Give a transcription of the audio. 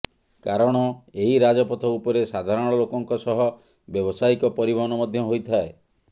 କାରଣ ଏହି ରାଜପଥ ଉପରେ ସାଧାରଣ ଲୋକଙ୍କ ସହ ବ୍ୟବସାୟୀକ ପରିବହନ ମଧ୍ୟ ହୋଇଥାଏ